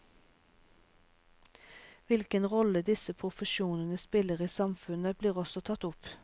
Hvilken rolle disse profesjonene spiller i samfunnet, blir også tatt opp.